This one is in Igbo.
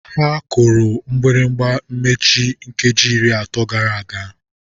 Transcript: Ha kụrụ mgbịrịgba mmechi nkeji iri atọ gara aga.